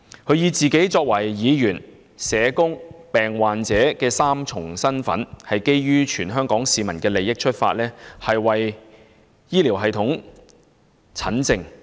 他以自己作為議員、社工及病患者的三重身份，從全港市民的利益出發，為本港醫療系統診症。